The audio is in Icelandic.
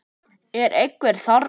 Er einhver þarna?